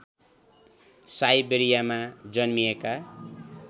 साइबेरियामा जन्मिएका